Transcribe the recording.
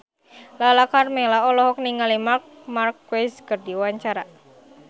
Lala Karmela olohok ningali Marc Marquez keur diwawancara